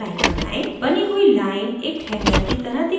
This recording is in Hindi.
बनी हुई line एक hanger की तरह दिखनी चाहिए